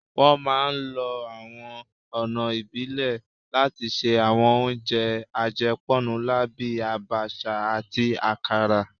Wọ́n máa ń lo àwọn ọ̀nà ìbílẹ̀ láti ṣe àwọn oúnjẹ àjẹpọ́nnulá bíi Abacha àti akara